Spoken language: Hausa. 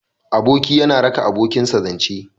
Aboki yana raka abokinsa zance.